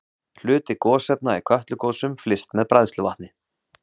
Hluti gosefna í Kötlugosum flyst með bræðsluvatni.